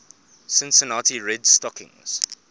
cincinnati red stockings